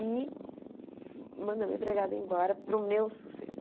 E manda minha empregada embora para o meu sossego.